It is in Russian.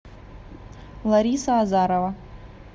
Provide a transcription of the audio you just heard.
лариса азарова